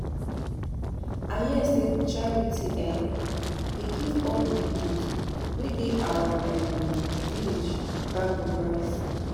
I hear say Charity um dey give all the widows wey dey our um village bag of rice